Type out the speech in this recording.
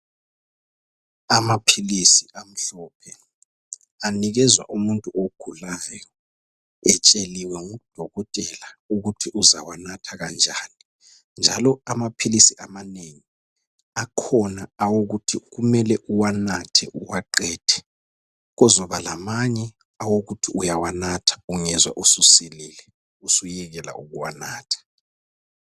Amaphilisi amhlophe, anikezwa umuntu ogulayo, etsheliwe ngudokotela ukuthi uzawanatha kanjani. Njalo amaphilisi amanengi, akhona awokuthi kumele uwanathe uwaqede, kuzoba lamanye awokuthi uyawanatha ungezwa ususilile usuyekela ukuwanatha.